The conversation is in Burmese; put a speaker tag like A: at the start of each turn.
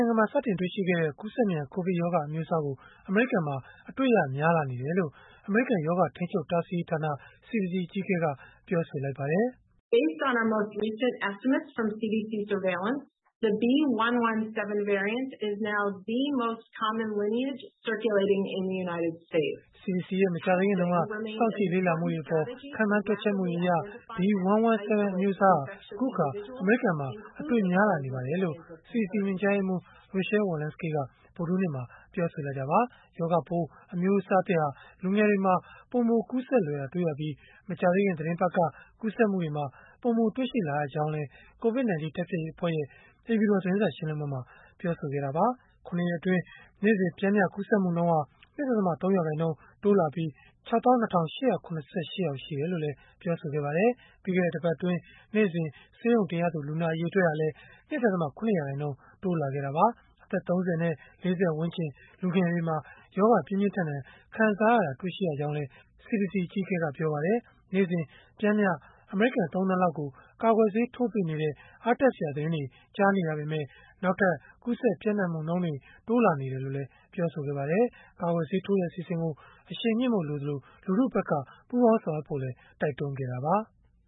A: ိုင်ငံမှာ စတင်တွေ့ရှိခဲ့တဲ့ ကူးစက်မြန် ကိုဗစ်ရောဂါ အမျိုးအစားကို အမေရိကန်မှာ အတွေ့ရများလာနေတယ်လို့ အမေရိကန် ရောဂါထိန်းချုပ် တားဆီးရေးဌာန (CDC) အကြီးအကဲက ပြောဆိုလိုက်ပါတယ်။ “CDC
B: ရဲ့ မ
A: ကြာသေးခင်တုန်းက စောင့်ကြည့်လေ့လာမှုတွေအပေါ် ခန့်မှန်းတွက်ချက်မှုအရ B.1.1.7 အမျိုးအစား ဟာ အခုအခါ အမေရိကန်မှာ အတွေ့များလာနေပါတယ်။” လို့ CDC ညွှန်ကြားရေးမှူး Rochelle Walensky က ဗုဒ္ဓဟူးနေ့မှာ ပြောဆိုလိုက်တာပါ။ ရောဂါပိုး အမျိုးအစားသစ်ဟာ လူငယ်တွေမှာ ပိုမိုကူးစက်လွယ်တာ တွေ့ရပြီး မကြာသေးခင် သီတင်းပတ်က ကူးစက်မှုတွေမှာ ပိုမိုတွေ့ရှိလာရကြောင်းလည်း COVID-19 တိုက်ဖျက်ရေးအဖွဲ့ရဲ့ အိမ်ဖြူတော် သတင်းစာ ရှင်းလင်းပွဲမှာ ပြောဆိုခဲ့တာပါ။ ၇ ရက်အတွင်း နေ့စဉ်ပျမ်းမျှ ကူးစက်မှုနှုန်းဟာ ၂.၃ ရာခိုင်နှုန်းတိုးလာပြီး ၆၂,၈၇၈ ယောက် ရှိတယ်လို့လည်း ပြောပါတယ်။ ပြီးခဲ့တဲ့ တပတ်အတွင်း နေ့စဉ်ဆေးရုံတင်ရသူ လူနာအရေအတွက်ဟာလည်း ၂.၇ ရာခိုင်နှုန်း တိုးလာခဲ့တာပါ။ အသက် ၃၀ နဲ့ ၄၀ ဝန်းကျင် လူငယ်တွေမှာ ရောဂါပြင်းပြင်းထန်ထန် ခံစားရတာတွေကို တွေ့ရှိလာရကြောင်းလည်း CDC အကြီးအကဲက ပြောပါတယ်။ နေ့စဉ်ပျမ်းမျှ အမေရိကန် ၃ သန်းလောက်ကို ကာကွယ်ဆေးထိုးပေးနေတဲ့ အားတက်စရာသတင်းတွေ ကြားနေရပေမဲ့ နောက်ထပ် ကူးစက်ပျံ့နှံ့မှုနှုန်းတွေ တိုးလာနေတယ်လို့လည်း ပြောပါတယ်။ ကာကွယ်ဆေးထိုးတဲ့ အစီအစဉ်ကို အရှိန်မြှင့်ဖို့ လိုအပ်သလို၊ လူထုဖက်က ပူးပေါင်းဆောင်ရွက်ဖို့လည်း တိုက်တွန်းခဲ့တာပါ။